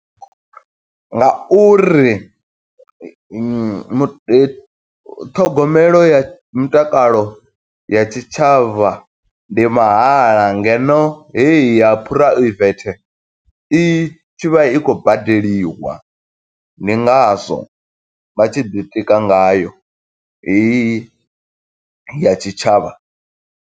Nga uri mu ṱhogomelo ya mutakalo ya tshitshavha ndi mahala, ngeno heyo ha phuraivethe i tshi vha i khou badeliwa, ndi ngazwo vha tshi ḓitika ngayo, heyi ya tshitshavha.